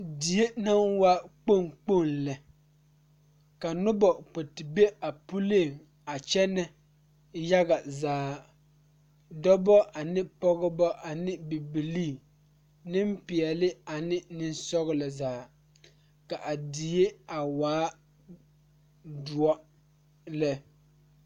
Nenpeɛle la zeŋ die kaŋa poɔ a eŋ nyɛboɔre bontuure ka bamine su kpare sɔglɔ ka bamine su kpare peɛle ka bamine su kpare ziiri ka bamine zeŋ ka bamine are ka bamine teɛ ba nu kyɛ ka bamine ba teɛ.